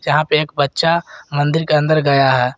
जहां पे एक बच्चा मंदिर के अंदर गया है।